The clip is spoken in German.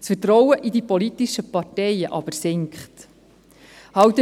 Das Vertrauen in die politischen Parteien sinkt jedoch.